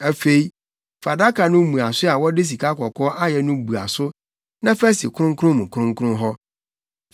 Afei, fa adaka no mmuaso a wɔde sikakɔkɔɔ ayɛ no bua so na fa si kronkron mu kronkron hɔ.